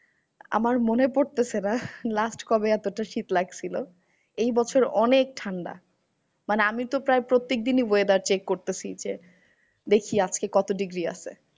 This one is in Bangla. আমার মনে পড়তেসে না last কবে এতটা শীত লাগসিলো? এই বছর অনেক ঠান্ডা। মানে আমি তো প্রায় প্রত্যেকদিনই weather check করতেসি যে, দেখি আজকে কত degree আছে?